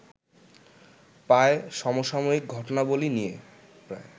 পায় সমসাময়িক ঘটনাবলী নিয়ে